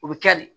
O bɛ kɛ de